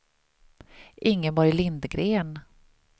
Ingeborg Lindgren